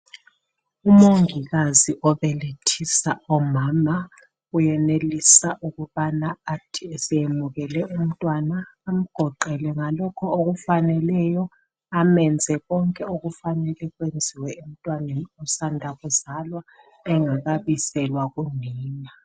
Umongikazi obelethisa omama uyenelisa ukubana athi eseyemukele umntwana amgoqele ngalokho okufaneleyo amenze konke okufanele kwenziwe emntwaneni osanda kuzalwa engakabiselwa kunina.